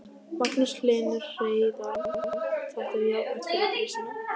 Magnús Hlynur Hreiðarsson: Þetta er jákvætt fyrir grísina?